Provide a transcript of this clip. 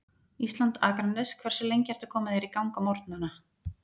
Ísland, Akranes Hversu lengi ertu að koma þér í gang á morgnanna?